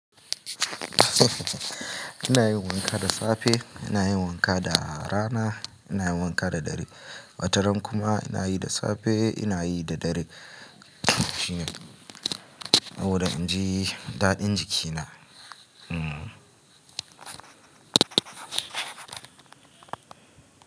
Ina yin wanka da safe, ina yin wanka da rana, ina yin wanka da dare. Wataran kuma ina yi da safe, ina yi da dare. Saboda in ji daɗin jikina. Hmm.